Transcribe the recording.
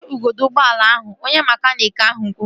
Weta igodo ụgbọala ahụ! Onye mekaniiki ahụ kwuru